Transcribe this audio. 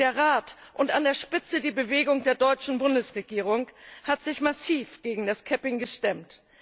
Der Rat, und an der Spitze die Bewegung der deutschen Bundesregierung, hat sich massiv gegen das capping gestemmt.